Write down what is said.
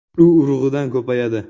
U urug‘idan ko‘payadi.